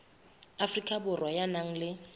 afrika borwa ya nang le